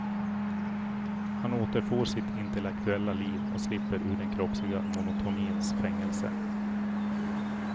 Han återfår sitt intellektuella liv och slipper ur den kroppsliga monotonins fängelse.